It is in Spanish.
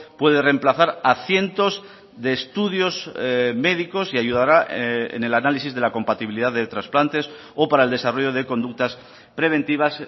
puede remplazar a cientos de estudios médicos y ayudará en el análisis de la compatibilidad de trasplantes o para el desarrollo de conductas preventivas